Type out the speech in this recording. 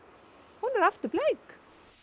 hún er aftur bleik